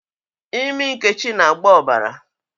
Imi Nkechi na-agba ọbara